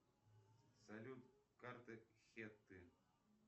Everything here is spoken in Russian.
салют карты хетты